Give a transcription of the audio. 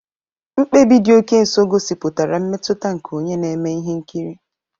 Mkpebi dị oke nso gosipụtara mmetụta nke onye na-eme ihe nkiri.